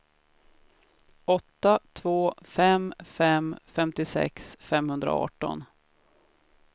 åtta två fem fem femtiosex femhundraarton